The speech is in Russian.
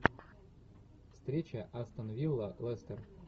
встреча астон вилла лестер